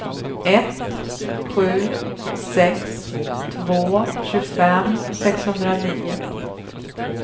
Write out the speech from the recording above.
ett sju sex två tjugofem sexhundranio